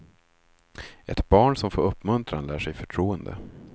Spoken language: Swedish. Ett barn som får uppmuntran lär sig förtroende.